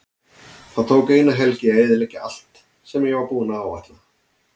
Það tók eina helgi að eyðileggja allt sem ég var búinn að áætla.